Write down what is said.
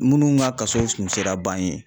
Munnu ga kaso kun sera ban ye